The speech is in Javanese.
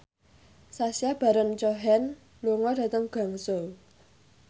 Sacha Baron Cohen lunga dhateng Guangzhou